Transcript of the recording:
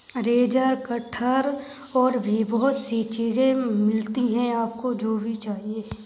Razor कटहर और भी बहुत-सी चीजें मिलती हैं आपको जो भी आपको चाहिए।